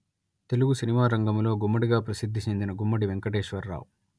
Telugu cinema రంగములో గుమ్మడి గా ప్రసిద్ధి చెందిన గుమ్మడి వెంకటేశ్వరరావు